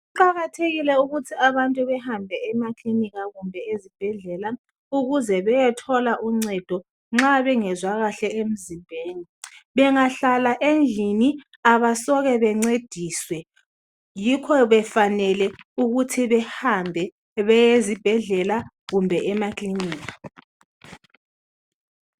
Kuqakathekile ukuthi abantu behambe emakilinika kumbe ezibhedlela ukuze beyethola uncedo nxa bengezwa kahle emzimbeni. Bengahlala endlini abasoke bencediswe yikho befanele ukuthi behambe beyezibhedlela kumbe emakilinika